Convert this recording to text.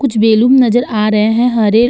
कुछ बैलून नजर आ रहे हैं हरे।